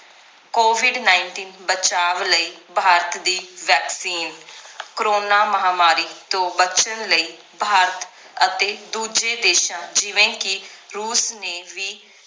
covid nineteen ਬਚਾਵ ਲਈ ਭਾਰਤ ਦੀ vaccine ਕਰੋਨਾ ਮਹਾਮਾਰੀ ਤੋਂ ਬਚਨ ਲਈ ਭਾਰਤ ਅਤੇ ਦੂਜੇ ਦੇਸ਼ਾਂ ਜਿਵੇਂ ਕਿ ਰੂਸ ਨੇ ਵੀ